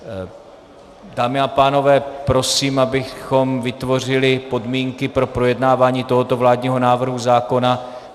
Dámy a pánové, prosím, abychom vytvořili podmínky pro projednávání tohoto vládního návrhu zákona.